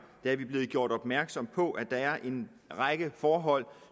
blevet gjort opmærksom på at der er en række forhold